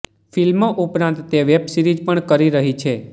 ફિલ્મો ઉપરાંત તે વેબસિરીઝ પણ કરી રહી છે